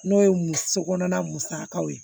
N'o ye muso kɔnɔna musakaw ye